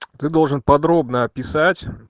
ты должен подробно описать